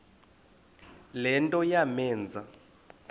le nto yamenza